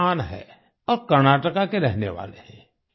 ये एक किसान है और कर्नाटका के रहने वाले हैं